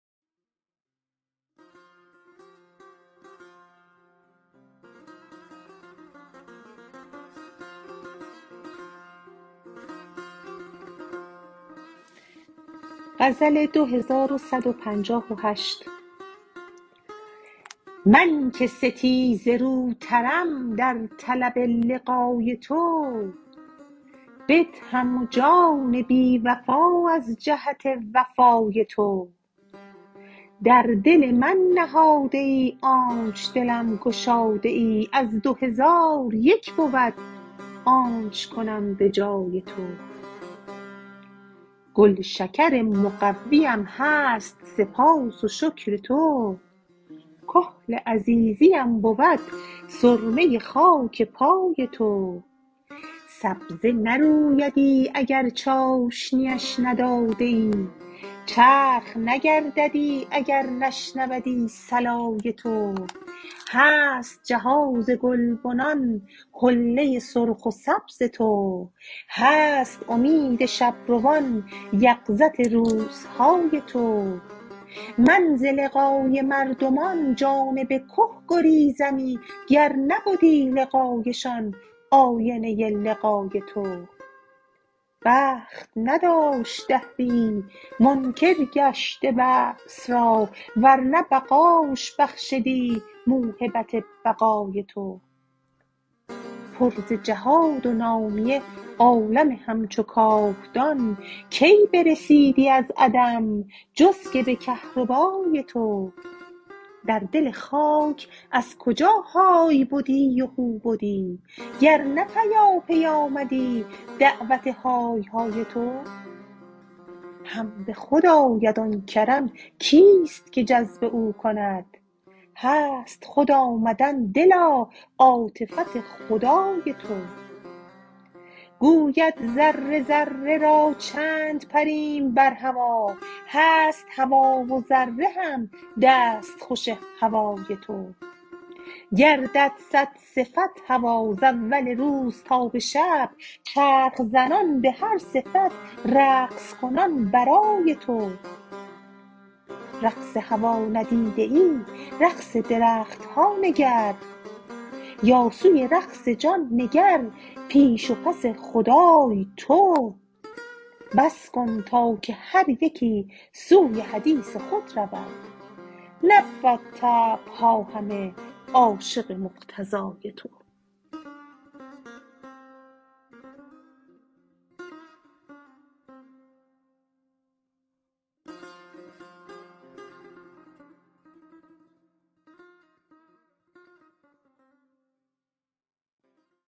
من که ستیزه روترم در طلب لقای تو بدهم جان بی وفا از جهت وفای تو در دل من نهاده ای آنچ دلم گشاده ای از دو هزار یک بود آنچ کنم به جای تو گلشکر مقویم هست سپاس و شکر تو کحل عزیزیم بود سرمه خاک پای تو سبزه نرویدی اگر چاشنیش ندادیی چرخ نگرددی اگر نشنودی صلای تو هست جهاز گلبنان حله سرخ و سبز تو هست امید شب روان یقظت روزهای تو من ز لقای مردمان جانب که گریزمی گر نبدی لقایشان آینه لقای تو بخت نداشت دهریی منکر گشت بعث را ور نه بقاش بخشدی موهبت بقای تو پر ز جهاد و نامیه عالم همچو کاهدان کی برسیدی از عدم جز که به کهربای تو در دل خاک از کجا های بدی و هو بدی گر نه پیاپی آمدی دعوت های های تو هم به خود آید آن کرم کیست که جذب او کند هست خود آمدن دلا عاطفت خدای تو گوید ذره ذره را چند پریم بر هوا هست هوا و ذره هم دستخوش هوای تو گردد صد صفت هوا ز اول روز تا به شب چرخ زنان به هر صفت رقص کنان برای تو رقص هوا ندیده ای رقص درخت ها نگر یا سوی رقص جان نگر پیش و پس حدای تو بس کن تا که هر یکی سوی حدیث خود رود نبود طبع ها همه عاشق مقتضای تو